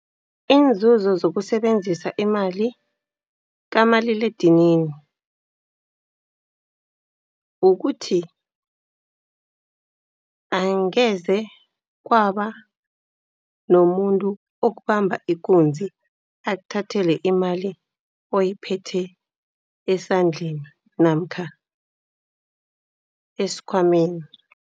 Iinzuzo zokusebenzisa imali kamaliledinini, kukuthi angeze kwaba nomuntu okubamba ikunzi. Akuthathele imali oyiphetheko esandleni namkha esikhwameni.